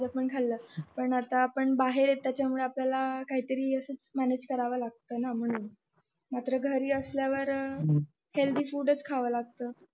ते प खाल्लं पण आता आपण बाहेर आहे तर काही तरी असं मॅनेज करावं लागत ना म्हणून घरी असल्यावर हेल्थी फूडच खावं लागत